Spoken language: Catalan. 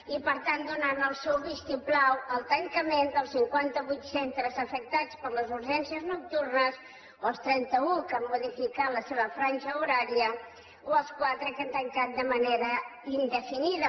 i per tant donant el seu vistiplau al tancament dels cinquanta vuit centres afectats per les urgències nocturnes o als trenta u que han modificat la seva franja horària o als quatre que han tancat de manera indefinida